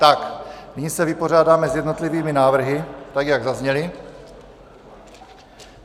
Tak nyní se vypořádáme s jednotlivými návrhy, tak jak zazněly.